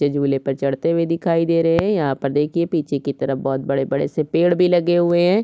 ये झुलेपर चढ़ते हुए दिखाई दे रहे है यहाँ पर देखिए पिछे की तरफ बहोत बड़े-बड़े से पेड़ भी लगे हुए है।